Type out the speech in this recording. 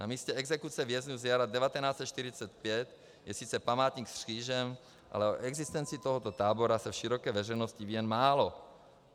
Na místě exekuce vězňů z jara 1945 je sice památník s křížem, ale o existenci tohoto tábora se v široké veřejnosti ví jen málo.